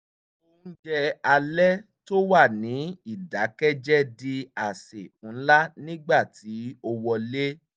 oúnjẹ alẹ́ tó wà ní ìdákẹ́jẹ́ di àsè ńlá nígbà tí o wọlé